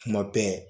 Kuma bɛɛ